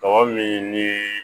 Tɔgɔ min ni